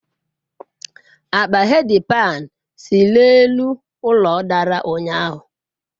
Akpa headpad si n'elu ụlọ dara ụnyahụ.